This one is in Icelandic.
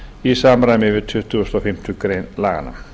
í samræmi við tuttugustu og fimmtu grein laganna